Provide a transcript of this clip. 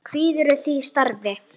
Kvíðirðu því starfi?